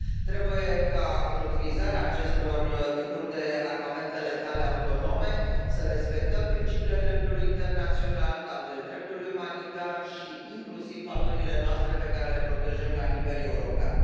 Trebuie ca în utilizarea acestor tipuri de armamente letale autonome să respectăm principiile dreptului internațional, principiile dreptului umanitar și inclusiv valorile noastre, pe care le protejăm la nivel european.